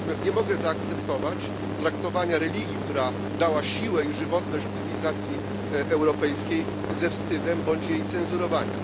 Natomiast nie mogę zaakceptować traktowania religii, która dała siłę i żywotność cywilizacji europejskiej, ze wstydem bądź jej cenzurowania.